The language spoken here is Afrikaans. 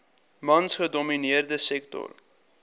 mans gedomineerde sektor